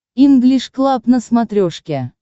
инглиш клаб на смотрешке